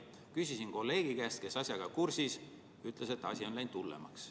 Küsisin kolleegi käest, kes on asjaga kursis, ta ütles, et asi on läinud hullemaks.